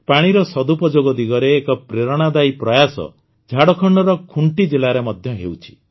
ପାଣିର ସଦୁପଯୋଗ ଦିଗରେ ଏକ ପ୍ରେରଣାଦାୟୀ ପ୍ରୟାସ ଝାଡ଼ଖଣ୍ଡର ଖୁଣ୍ଟି ଜିଲ୍ଲାରେ ମଧ୍ୟ ହେଉଛି